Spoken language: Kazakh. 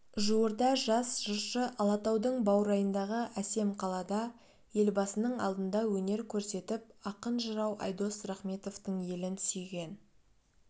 жуырда жас жыршы алатаудың баурайындағы әсем қалада елбасының алдында өнер көрсетіп ақын-жырау айдос рахметовтың елін сүйген